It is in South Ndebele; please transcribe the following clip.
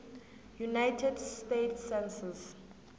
united states census